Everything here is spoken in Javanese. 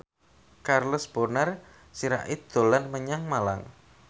Charles Bonar Sirait dolan menyang Malang